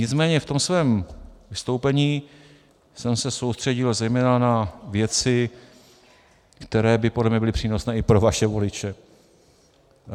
Nicméně v tom svém vystoupení jsem se soustředil zejména na věci, které by podle mě byly přínosné i pro vaše voliče.